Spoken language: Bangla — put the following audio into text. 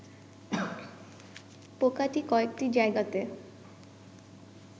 পোকাটি কয়েকটি জায়গাতে